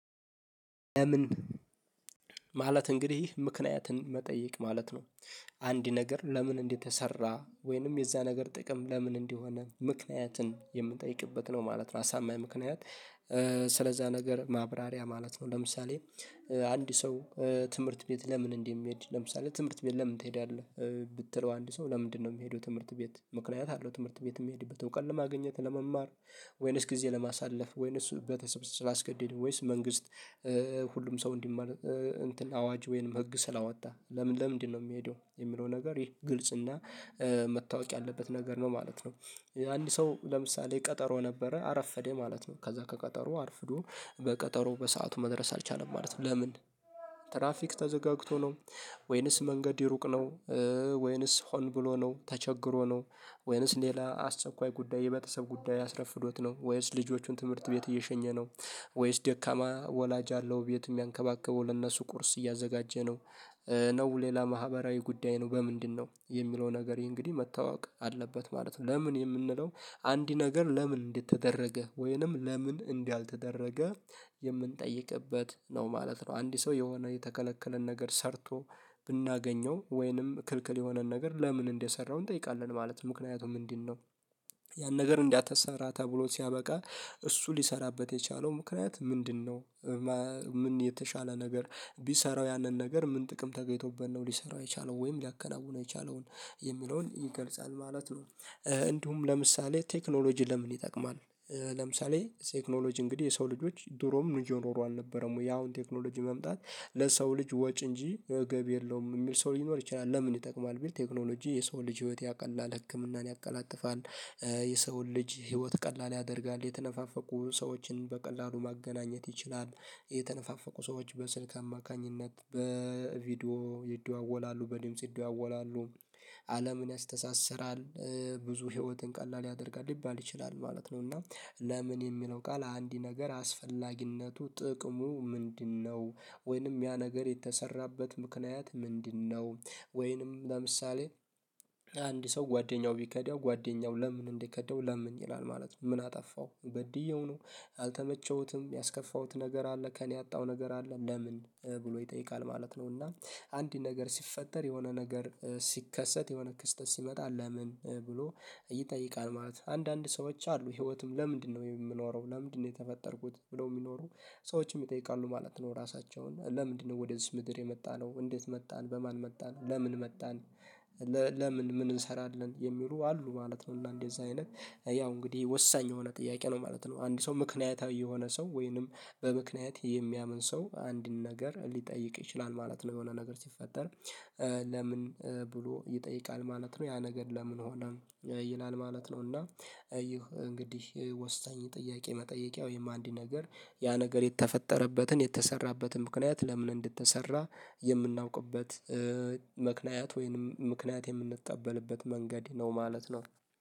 ምን ማለት እንግዲህ ምክንያንትን መጠየቅ ማለት ነው። አንድ ነገር ለምን እንደተሰራ ወይንም የዛ ነገር ጥቅም ለምን እንዲሆን ምክንያትን የምንጠይቅበት ነው ማለት ነው። አሳማኝ ምክንያት- ስለዛ ነገር ማብራሪያ ማለት ነው። ለምሳሌ:- አንድ ሰው ትምህርት ቤት ለምን እንደሚሄድ ለምሳሌ:- ትምህርት ቤት ለምን ትሄዳለህ? ብትለው አንድ ሰው ለምንድነው የሚሄደው ትምህርት ቤት ምክንያት አለው ትምህርት ቤት የሚሄድበት እዉቀት ለማግኘት ለመማር- ወይነስ ጊዜ ለማሳለፍ ወይነስ ቤተሰብ ስላስገደደን ወይስ መንግስት: ሁሉም ሰው እንዲማር እንትን አዋጅ ወይንም ህግ ስላወጣ ለምን ለምንድነው የሚሄደው። የሚለው ነገር ይሄ ግልጽና መታወቅ ያለበት ነገር ነው ማለት ነው። አንድ ሰው ለምሳሌ ቀጠሮ ነበረ አረፈደ ማለት ነው። ከዛ ከቀጠሮ አርፍዶ በቀጠሮው በሰአቱ መድረስ አልቻለም ማለት ነው። ለምን? ትራፊክ ተዘጋግቶ ነው? ወይንስ መንገድ ሩቅ ነው? ወይንስ ሆን ብሎ ነው :ተቸግሮ ነው :ወይንስ ሌላ አስቸኳይ ጉዳይ: የመተሰብ ጉዳይ አስረፍዶት ነው: ወይንስ ልጆቹን ትምህርት ቤት እየሸኘ ነው- ወይስ ደካማ ወላጅ አለው ቤት የሚያንከባክበው ለእነሱ ቁርስ እያዘጋጀ ነው? ነው ሌላ ማህበራዊ ጉዳይ ነው በምንድ ነው? የሚለው ነገር ይሄ እንግዲህ መታወቅ አለበት ማለት ነው ለምን የምንለው አንዲ ነገር ለምን እንዴት ተደረገ ወይንም ለምን እንዲህ ያልተደረገ- የምንጠይቅበት ነው ማለት ነው። አንድ ሰው የሆነ የተከለከለን ነገር ሰርቶ ብናገኘው ወይንም ክልክል የሆነን ነገር ለምን እንደሰራው እንጠይቃለን ማለት ነው። ምክንያቱም ምንድን ነው? ያን ነገር እንዳትሰራ ተብሎ ሲያበቃ እሱ ሊሰራበት የቻለው ምክንያት ምንድነው? ምን የተሻለ ነገር ቢሰራው ያንን ነገር ምን ጥቅም ተገይቶብን ነው ሊሰራው የቻለው ወይም ሊያከናውነው የቻለውን የሚለውን ይገልጻል ማለት ነው። እንዲሁም ለምሳሌ:- ቴክኖሎጂ ለምን ይጠቅማል? ለምሳሌ :-ቴክኖሎጂ እንግዲህ የሰው ልጆች ድሮም እየኖሩ አልነበረም ወይ ያውን ቴክኖሎጂ መምጣት ለሰው ልጅ ወጪ እንጂ ገቢ የለውም የሚል ሰው ሊኖር ይችላል ለምን ይጠቅማል ቢል :-ቴክኖሎጂ የሰው ልጅ ህይወት ያቀላል። ህክምናን ያቀላጥፋል።- የሰውን ልጅ ህይወት ቀላል ያደርጋል። የተነፋፈቁ ሰዎችን በቀላሉ ማገናኘት ይችላል። የተነፋፈቁ ሰዎች በስልክ አማካኝነት በቪዲዮ ይደዋወላሉ። በድምጽ ይደዋወላሉ። አለምን ያስተሳስራል። ብዙ ህይወትን ቀላል ያደርጋል ሊባል ይችላል ማለት ነው። እና- ለምን የሚለው ቃል አንድ ነገር አስፈላጊነቱ: ጥቅሙ ምንድነው? ወይንም ያ ነገር የተሰራበት ምክንያት ምንድነው ወይንም ለምሳሌ:- አንድ ሰው ጓደኛው ቢከደው ጓደኛው ለምን እንደከደው ለምን? ይላል ማለት ነው። ምን አጠፋው? በድየው ነው? አልተመቸውትም? ያስከፋሁት ነገር አለ? ከእኔ ያጣው ነገር አለ? ለምን ብሎ ይጠይቃል ማለት ነው። እና አንድ ነገር ሲፈጠር የሆነ ነገር ሲከሰት የሆነ ክስተት ሲመጣ ለምን? ብሎ ይጠይቃል ማለት ነው። አንዳንድ ሰዎች አሉ ህይወትም ለምንድነው የምኖረው? ለምንድነው የተፈጠርኩት? ብለው የሚኖሩ ሰዎችም ይጠይቃሉ ማለት ነው ራሳቸውን። ለምንድነው ወደዚች ምድር የመጣነው? እንዴት መጣን? በማን መጣን? ለምን መጣን?- ለምን ምን እንሰራለን የሚሉ አሉ ማለት ነው። እና እንደዚህ አይነት ያው እንግዲህ ወሳኝ የሆነ ጥያቄ ነው ማለት ነው። አንድ ሰው ምክንያታዊ የሆነ ሰው ወይንም በምክንያት የሚያምን ሰው አንድን ነገር ሊጠይቅ ይችላል ማለት ነው የሆነ ነገር ሲፈጠር።- ለምን ብሎ ይጠይቃል ማለት ነው። ያ ነገር ለምን ሆነ ይላል ማለት ነው። እና- እንግዲህ ወሳኝ ጥያቄ መጠየቂያው የማንዲ ነገር ያ ነገር የተፈጠረበትን :የተሰራበትን: ምክንያት ለምን እንደተሰራ የምናውቅበት ምክንያት ወይንም ምክንያት የምንቀበልበት መንገድ ነው ማለት ነው።